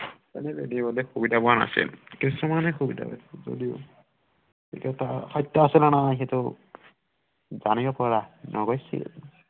সুবিধা পোৱা নাছিল কিছুমানে সুবিধা পাইছিল যদিও এতিয়া তাৰ সত্য আছে নে নাই সেইটো জানিৱ পৰা নগৈছিল